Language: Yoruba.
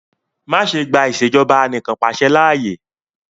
Ma ṣe gba Ìṣèjọba Anìkanpàṣẹ laaye!